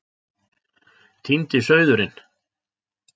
Týndi sauðurinn